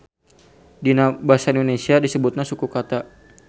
Dina basa Indonesia disebutna suku kata.